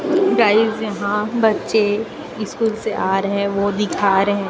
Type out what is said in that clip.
guys यहां बच्चे school से आ रहे हैं वो दिखा रहें--